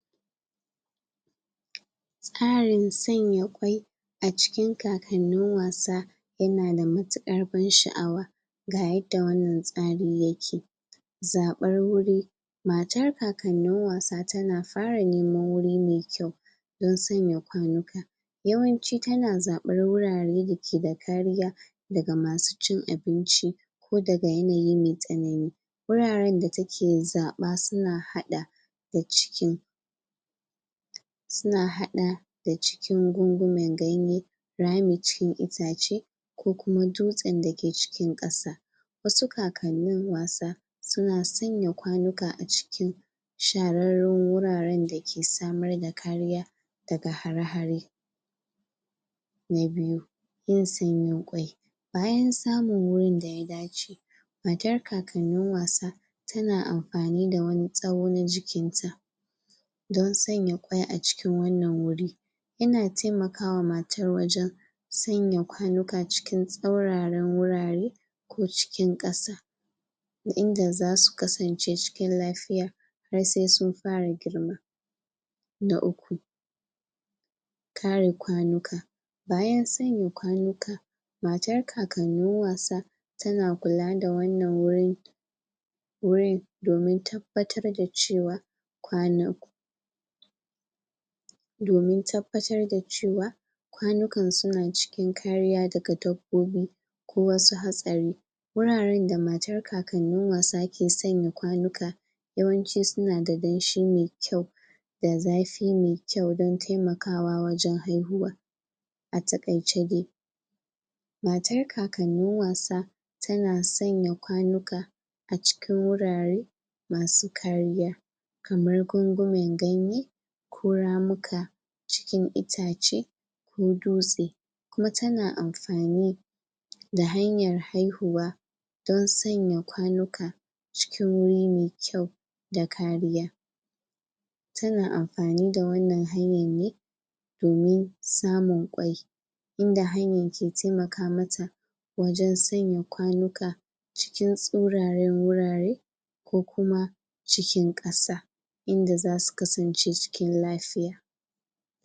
Tsarin tsanya kwai a cikin kakanin wasa ya na da matukar ban shaawa ga yadda wannan tsari ya ke zabar wuri, matar kakanin wasa tana fara neman wuri mai kyau dan tsanya kwanuka yawanci ta na zabar wurare da ke da karya da ga ma su cin abinci ko da ga yanayin mai tsanani wuraren da ta ke zaba su na hada, da cikin su na hada da cikin gungunmin ganye rami cikin itace, ko kuma dutsen da ke cikin kasa wasu kakanin wasa su na tsanya kwanuka a cikin shararen wuraren da ke samar da kariya da ga hare-hare na biyu, yin tsanyin kwai bayan tsamun wurin da ya dace matar kakanin wasa ta na amfani da wani tsawo na jikin ta dan tsanya kwai, a cikin wannan wuri ina taimakawa matar wajen tsanya kwanuka cikin tsauraran wurare ko cikin kasa inda za su kasance cikin lafiya har sai sun fara girma na uku karin kwanuka, bayan tsanya kwanuka matar kakanin wasa ta na kulla da wannan wurin wuri domin tabbatar da cewa kwanu domin tabbatar da cewa kwanukan su na cikin kariya da ga dabbobi ko wasu hasari wuraren da matar kakanin wasa ke tsanya kwanuka yawanci su na da danshi mai kyau da zafi mai kyau dan taimakawa wajen haihuwa a takaice dai matar kakanin wasa ta na tsanya kwanuka, acikin wurare masu kariya kamar gungumen ganye ko ramuka cikin itace, ko dutse kuma ta na amfani da hanyar haihuwa dan tsanya kwanuka cikin wuri mai kyau da kariya ta na amfani da wannan hanyar ne domin samun kwai inda hanyar kai taimaka ma tawajen tsanya kwanuka cikin tsuraren wurare ko kuma, cikin kasa inda za su kasance cikin lafiya.